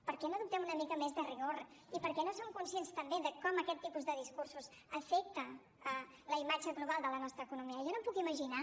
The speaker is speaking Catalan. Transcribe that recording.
per què no adoptem una mica més de rigor i per què no som conscients també de com aquest tipus de discursos afecta la imatge global de la nostra economia jo no em puc imaginar